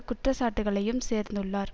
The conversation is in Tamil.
குற்ற சாட்டுக்களையும் சேர்ந்துள்ளார்